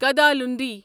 کدالوندی